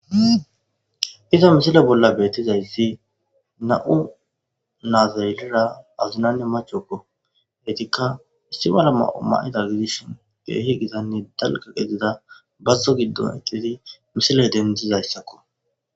Iza misile bolla betizaysi nam'u natetha atumanne maca gidiza , entika issi mala may'o mayida gidishn keehibgitanne dalga gidida bazo gidon eqidi misile dendizaysako